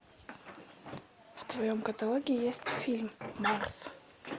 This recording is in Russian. в твоем каталоге есть фильм марс